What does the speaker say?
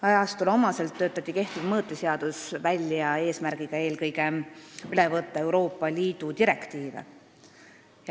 Ajastule omaselt töötati kehtiv mõõteseadus välja eesmärgiga eelkõige üle võtta Euroopa Liidu direktiive.